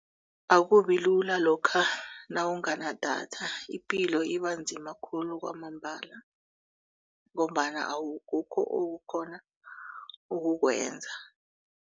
Akubilula lokha nawunganadatha ipilo iba nzima khulu kwamambala ngombana akukho okukghona ukukwenza.